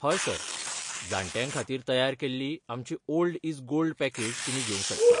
हय सर. जाण्ट्यां खातीर तयार केल्ली आमची 'ओल्ड इज गोल्ड' पॅकेज तुमी घेवंक शकतात.